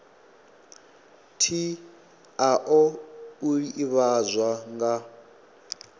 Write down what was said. tshi oa u ivhadzwa nga